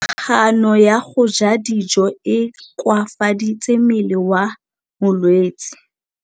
Kganô ya go ja dijo e koafaditse mmele wa molwetse.